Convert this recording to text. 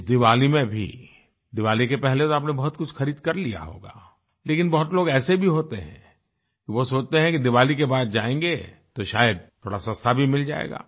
इस दीवाली में भी दीवाली के पहले तो आपने बहुत कुछ खरीद कर लिया होगा लेकिन बहुत लोग ऐसे भी होते हैं वो सोचते हैं कि दिवाली के बाद जायेंगें तो शायद थोड़ा सस्ता भी मिल जाएगा